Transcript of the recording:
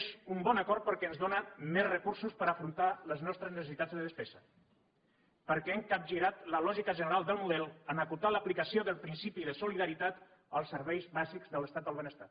és un bon acord perquè ens dóna més recursos per afrontar les nostres necessitats de despesa perquè hem capgirat la lògica general del model en acotar l’aplicació del principi de solidaritat als serveis bàsics de l’estat del benestar